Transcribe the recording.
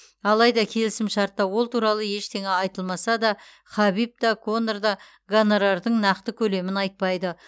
алайда келісімшартта ол туралы ештеңе айтылмаса да хабиб та конор да гонорардың нақты көлемін айтпайды